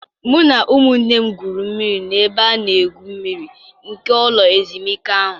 Mụ na ụmụnne m gwuru mmiri n'ebe a na-egwu mmiri nke ụlọ ezumike ahụ.